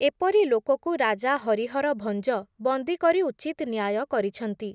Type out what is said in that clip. ଏପରି ଲୋକକୁ, ରାଜା ହରିହର ଭଞ୍ଜ, ବନ୍ଦୀ କରି ଉଚିତ୍ ନ୍ୟାୟ କରିଛନ୍ତି ।